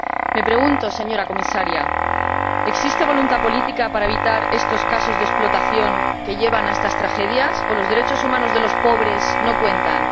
Me pregunto, señora Comisaria ¿existe voluntad política para evitar estos casos de explotación que llevan a estas tragedias o los derechos humanos de los pobres no cuentan?